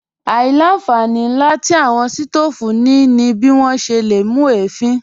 Àìlà-nfàní nlà tí awọn sítoofú ní bí wọn ṣè lé mú ẹ̀fìn.